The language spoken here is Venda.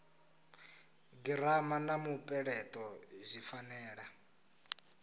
girama na mupeleto zwi fanela